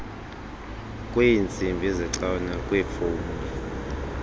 kweentsimbi zecawe nokweefowuni